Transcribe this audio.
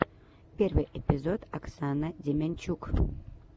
первый эпизод оксана демянчук